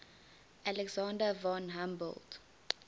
alexander von humboldt